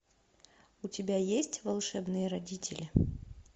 у тебя есть волшебные родители